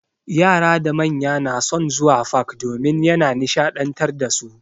Yara da manya na son zuwa fak domin ya na nishaɗantar dasu.